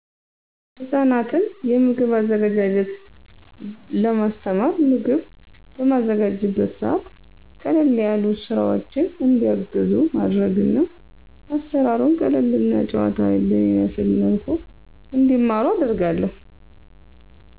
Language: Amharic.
ህጻናትን የምግብ አዘገጃጀት ለማስተማር፣ ምግብ በማዘጋጅበት ሰዐት ቀለል ያሉ ስራወችን እንዲያግዙ ማድረግና አሰራሩን ቀለል እና ጨዋታዊ በሚመስል መልኩ እንዲማሩት አደርጋለሁ።